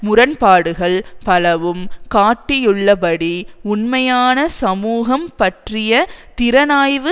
முரண்பாடுகள் பலவும் காட்டியுள்ளபடி உண்மையான சமூகம் பற்றிய திறனாய்வு